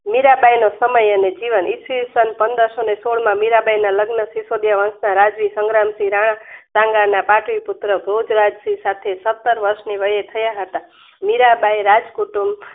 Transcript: મીરાંબાઈ નો સમય અને જીવન ઈસવીસન પંદરસોને સોળમાં મીરાંબાઈના લગ્ન સીસોદીયા વંસ ના રાજા સંગ્રામસિંહ રાણા સંગાના પાટલીપુત્ર ધુતરાજસરી સત્તર વર્ષની વયે થયા હતા મીરાંબાઈએ રાજકુટુંબ